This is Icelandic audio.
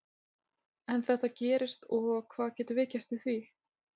En þetta gerist og hvað getum við gert í því?